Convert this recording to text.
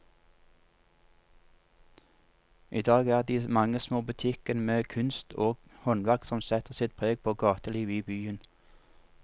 I dag er det de mange små butikkene med kunst og håndverk som setter sitt preg på gatelivet i byen.